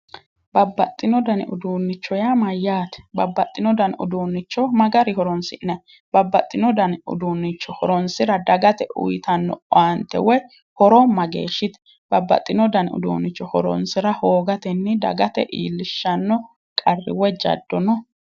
Babbaxino dani uduunicho yaa Mayyaate? Babbaxino dani uduunicho ma garii horoni'nayi? babbaxino dani uduunicho horonisira dagate uyitanno owaanite woyi horo mageeshite babbaxino dani uduunicho horonisira hoogatenni dagate ilishanno qarri woyi jaddo no?